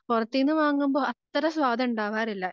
പുറത്തീന്ന് വാങ്ങുമ്പം അത്ര സ്വാദ് ഉണ്ടാവാറില്ല